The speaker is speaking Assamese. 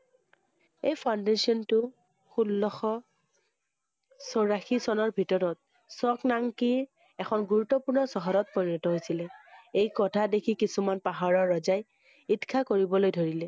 এই foundation টো ষোল্লশ চৌৰাশী চনৰ ভিতৰত চকনাংকি এখন গুৰুত্বপূৰ্ণ চহৰত পৰিণত হৈছিলে। এই কথা দেখি কিছুমান পাহাৰৰ ৰজায়ে ঈৰ্ষা কৰিবলৈ ধৰিলে।